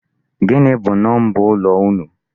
Gịnị bụ number ụlọ unu?